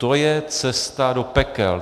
To je cesta do pekel.